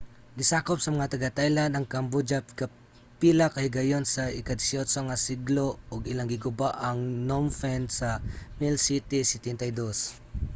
gisakop sa mga taga-thailand ang cambodia kapila ka higayon sa ika-18 nga siglo ug ilang giguba ang phnom phen sa 1772